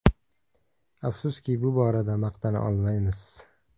Afsuski, bu borada maqtana olmaymiz.